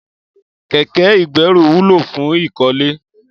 Kẹ̀kẹ igbẹ̀rú wùló fùn ikọ̀lé